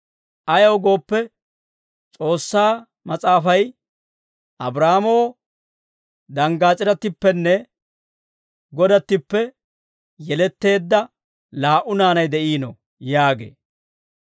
Ayaw gooppe, S'oossaa Mas'aafay, «Abraahaamoo danggaas'irattippenne godattippe yeletteedda laa"u naanay de'iino» yaagee.